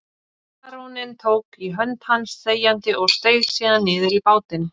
Baróninn tók í hönd hans þegjandi og steig síðan niður í bátinn.